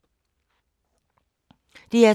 DR2